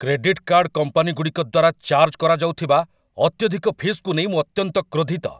Credit card କମ୍ପାନୀଗୁଡ଼ିକ ଦ୍ୱାରା charge କରାଯାଉଥିବା ଅତ୍ୟଧିକ ଫିସ୍‌କୁ ନେଇ ମୁଁ ଅତ୍ୟନ୍ତ କ୍ରୋଧିତ।